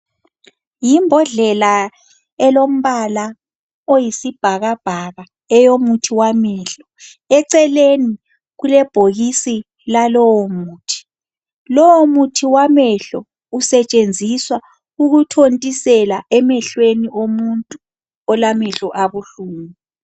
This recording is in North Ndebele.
Yimbodlela elombala oyisibhakabhaka, eyomuthi wamehlo. Eceleni kulebhokisi lalowomuthi. Lowomuthi wamehlo, usetshenziswa ukuthontisela emehlweni omuntu olamehlo abuhlungu.